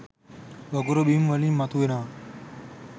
වගුරු බිම් වලින් මතු වෙනවා.